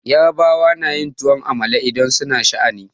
Yarbawa na yin tuwon amala idan su na sha'ani.